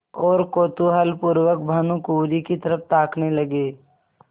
और कौतूहलपूर्वक भानुकुँवरि की तरफ ताकने लगे